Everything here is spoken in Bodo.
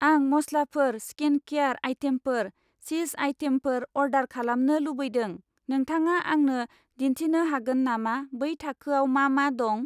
आं मसलाफोर, स्किनकेयार आइटेमफोर, चिज आइटेमफोर अर्डार खालामनो लुबैदों, नोंथाङा आंनो दिन्थिनो हागोन नामा बै थाखोआव मा मा दं?